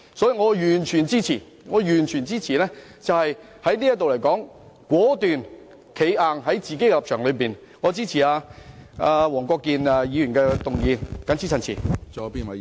所以，我完全支持在這一刻果斷地堅持立場，並支持黃國健議員的議案，謹此陳辭。